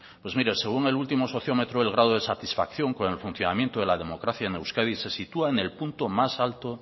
pues mire según el último sociómetro el grado de satisfacción con el funcionamiento de la democracia en euskadi si sitúa en el punto más alto